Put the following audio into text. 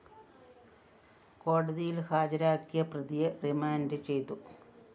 കോടതിയില്‍ ഹാജരാക്കിയ പ്രതിയെ റിമാൻഡ്‌ ചെയ്തു